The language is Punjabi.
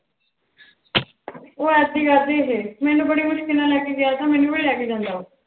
ਉਹ ਐਸੀ ਕਰਦੇ ਹੈ, ਮੈਨੂੰ ਬੜੀ ਮੁਸਕਲ ਨਾਲ ਲੈ ਕੇ ਗਿਆ ਥਾ ਮੈਨੂੰ ਵੀ ਨੀ ਲੈ ਕੇ ਜਾਂਦਾ ਉਹ।